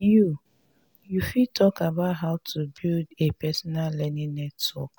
you you fit talk about how to build a personal learning network.